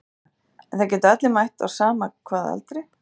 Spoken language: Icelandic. Helga: En það geta allir mætt á sama hvaða aldri?